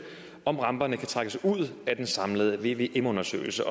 om ramperne kan trækkes ud af den samlede vvm undersøgelse